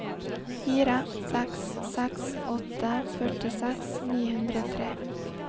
fire seks seks åtte førtiseks ni hundre og tre